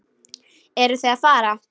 Eruð þið að fara?